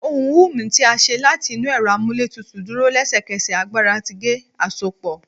Ohùn humming ti a ṣe lati inu ẹrọ amúlétutùú duro lẹsẹkẹsẹ agbara ti ge-asopo